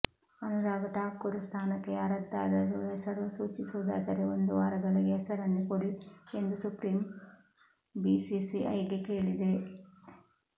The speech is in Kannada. ಅನುರಾಗ್ ಠಾಕೂರ್ ಸ್ಥಾನಕ್ಕೆ ಯಾರದ್ದಾದರೂ ಹೆಸರು ಸೂಚಿಸುವುದಾದರೆ ಒಂದು ವಾರದೊಳಗೆ ಹೆಸರನ್ನು ಕೊಡಿ ಎಂದು ಸುಪ್ರೀಂ ಬಿಸಿಸಿಐ ಗೆ ಕೇಳಿದೆ